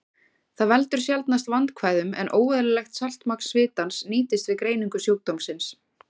Það veldur sjaldnast vandkvæðum, en óeðlilegt saltmagn svitans nýtist við greiningu sjúkdómsins.